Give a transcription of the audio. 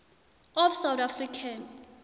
of south african